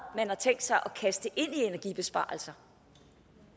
man har tænkt sig at kaste ind i energibesparelser